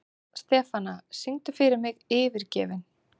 Stefana, syngdu fyrir mig „Yfirgefinn“.